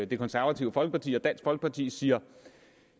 det konservative folkeparti og dansk folkeparti siger